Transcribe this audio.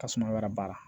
Tasuma wɛrɛ b'a la